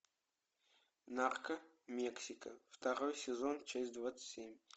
нарко мексика второй сезон часть двадцать семь